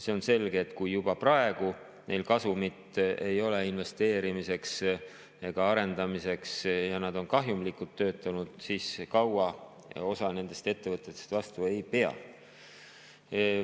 See on selge, et kui juba praegu neil kasumit ei ole investeerimiseks ega arendamiseks ja nad on kahjumlikult töötanud, siis osa nendest ettevõtetest kaua vastu ei pea.